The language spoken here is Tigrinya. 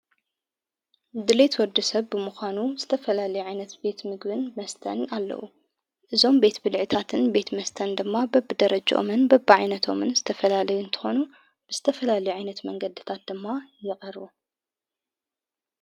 ድልየት ወዲ ሰብ ብምዃኑ ዝተፈላለየ ዒይነት ቤት ምግብን መስተን ኣለዉ እዞም ቤት ብልዕታትን ቤት መስተን ድማ በብ ደረጅኦምን በብዒይነቶምን ዝተፈላለዩ ንተኾኑ ብስተፈላል ዒይነት መንገድታት ደማ ይቐሩቡ ::